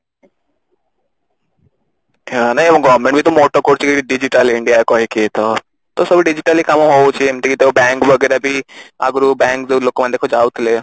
ହଁ ନାଇଁ ଆମ government ବି ତ moto କରୁଛି digital India କହିକି ତ ସବୁ digitally କାମ ହଉଛି ଏମତି ତ bank ବଗେରା ବି ଅଗୁରୁ bank ଦେଖ ଯୋଉ ଲୋକମାନେ ଯାଉଥିଲେ